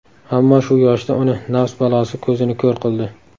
Ammo, shu yoshida uni nafs balosi ko‘zini ko‘r qildi.